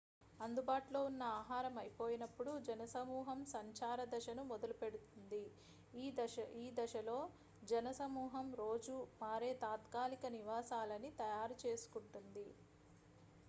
అందుబాటులో ఉన్న ఆహారం అయిపోయినప్పుడు జన సమూహం సంచార దశను మొదలుపెడుతుంది ఈ దశలో జన సమూహం రోజూ మారే తాత్కాలిక నివాసాలని తయారు చేసుకుంటుంది